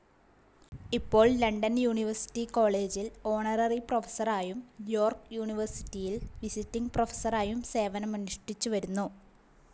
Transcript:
ഇപ്പോൾ London university കോളെജിൽ honorary പ്രൊഫസറായും യോർക്ക് യൂണിവേർസിറ്റിയിൽ വിസിറ്റിങ്‌ പ്രൊഫസറായും സേവനമനുഷ്ഠിച്ചു വരുന്നു.